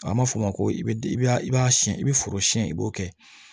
An b'a fɔ o ma ko i b'a i b'a siɲɛn i bɛ foro siɲɛ i b'o kɛ